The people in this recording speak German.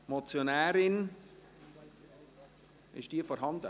Ist die Motionärin anwesend?